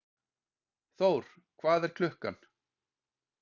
Þór, hvað er klukkan?